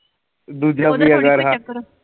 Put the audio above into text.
ਦੂਜਾ